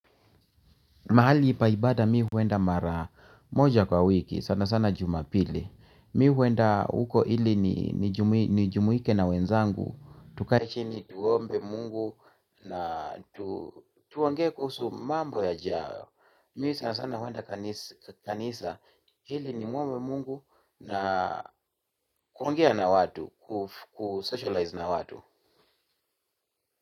Mahali pa ibada mi huenda mara moja kwa wiki, sana sana Jumapili. Mi huenda huko ili nijumuike na wenzangu. Tukae chini tuombe Mungu na tuongee kuhusu mambo yajayo. Mi sanasana huenda kanisa ili nimuombe Mungu na kuongea na watu, kusocialize na watu.